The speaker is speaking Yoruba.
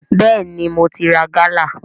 Bẹ́ẹ̀ni, mo ti ra gálà